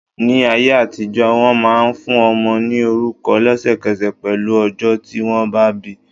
Ní ayé àtijọ́, wọn máa ń fún ọmọ ní orúkọ lesekese pẹ̀lú ọjọ́ tí wọn bá bi.